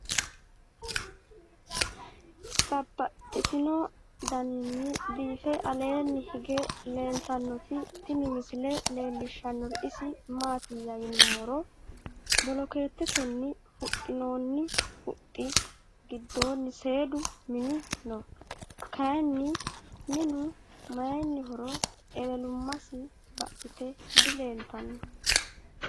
Babaxxittinno daninni biiffe aleenni hige leelittannotti tinni misile lelishshanori isi maattiya yinummoro bolokeetetenni huxxinoonni huxxi gidoonni seedu minni noo. Kayiinni minnu mayiinnihoro ewelummassi baxxitte dileelittanno.